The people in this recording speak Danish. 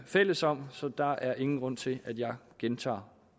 fælles om så der er ingen grund til at jeg gentager